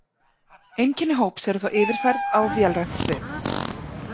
Einkenni hóps eru þá yfirfærð á vélrænt svið.